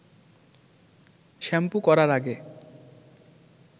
shampoo করার আগে